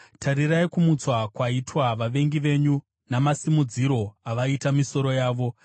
Tarirai kumutswa kwaitwa vavengi venyu, namasimudziro avaita misoro yavo.